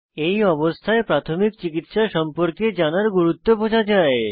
এই অবস্থায় প্রাথমিক চিকিত্সা সম্পর্কে জানার গুরুত্ব বোঝা যায়